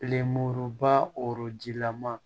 ba rɔji lama